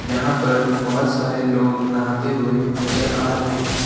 यहां पर बहोत सारे लोग नहाते हुए नजर आ रहे हैं।